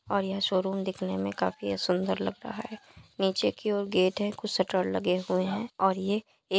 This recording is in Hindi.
और यह शोरूम दिखने में काफी सुंदर लग रहा है। नीचे की ओर गेट है। कुछ शटर लगे हुए हैं और ये --